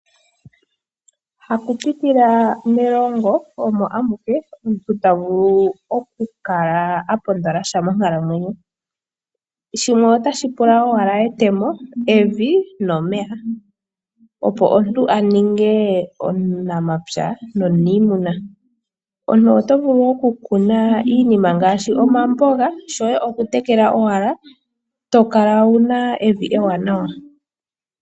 Haku pitila melongo omo amuke omuntu tavulu akale apondola sha monkalamwenyo, shimwe otashi pula owala etemo, evi nomeya opo omuntu aninge omunapya nomuniimuna. Omuntu otovulu okukuna iinima ngaashi omamboga shoye okutekela owala, tokala wuna evi ewanawa.